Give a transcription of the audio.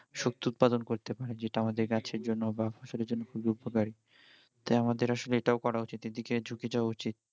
শক্তি উৎপাদন করতে পারে যেটা আমাদের গাছের জন্য বা ফসলের জন্য খুবই উপকারী তাই আমাদের আসলে এটাও করা উচিত এদিকে ঝুঁকে যাওয়া উচিত